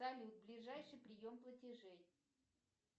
салют ближайший прием платежей